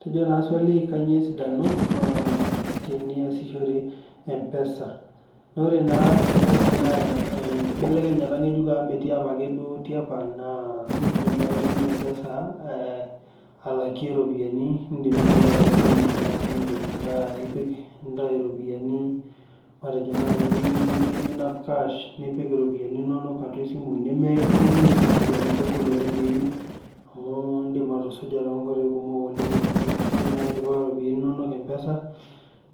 Etejo naa swali kanyio esidano ee teniasishore mpesa. Naa ore naa mpesa naa inkibelekenyat nkejuk amu metii apake tiapa naa iidim nai aitumiya mpesa alakie iropiyiani, niidim naaji ataa embenki ino amu idim atipika nintawuo iropiyian matejo naai nimiyieu ninap kash, nipik iropiyiani inono atua esimu, nimiin sii amu kegol piimin amu indim atuja toonkoi kumok amu indim naayi atipika iropiyiani inono mpesa,